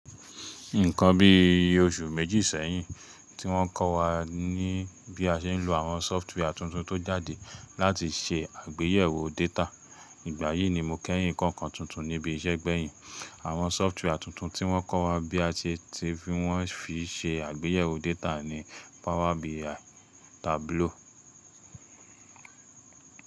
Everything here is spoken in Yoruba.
Nǹkan bí i oṣù méjì sẹ́yìn tí wọ́n kọ́ wa ní bí a ṣe ń lo àwọn sófútúwà tuntun tó jáde láti ṣe àgbéyẹ̀wò data. Ìgbà yìí ni mo kẹ́yìn kọ́ nǹkan tuntun níbi iṣẹ́ gbẹ̀yìn. Àwọn sófútúwà tuntun tí wọ́n kọ́ wa bí a ṣe ti fi wọ́n fi ṣe àgbéyẹ̀wò data ni Power BI, Tableau.